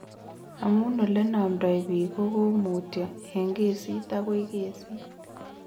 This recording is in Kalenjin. Amu olenamdoi piik kokomutyo eng kesit akoi kesit, ngering'itu